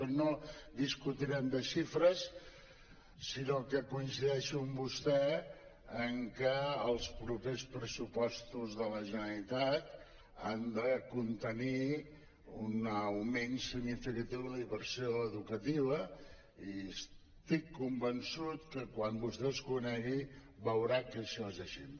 però no discutirem de xifres sinó que coincideixo amb vostè en que els propers pressupostos de la generalitat han de contenir un augment significatiu de la inversió educativa i estic convençut que quan vostè els conegui veurà que això és així